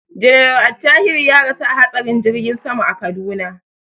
General Attahiru ya rasu a hatsarin jirgin sama a Kaduna.